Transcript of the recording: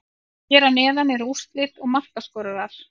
Hér að neðan eru úrslit og markaskorarar.